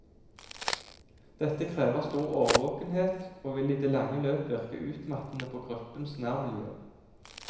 Dette krever stor årvåkenhet, og vil i det lange løp virke utmattende på gruppens nærmiljø.